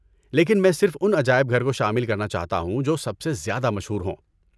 لیکن میں صرف ان عجائب گھر کو شامل کرنا چاہتا ہوں جو سب سے زیادہ مشہور ہوں۔